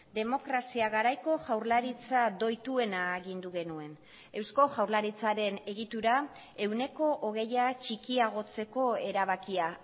demokrazia garaiko jaurlaritza doituena agindu genuen eusko jaurlaritzaren egitura ehuneko hogeia txikiagotzeko erabakia